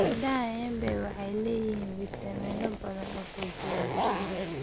Midhaha embe waxay leeyihiin fiitamiino badan oo xoojinaya jidhka.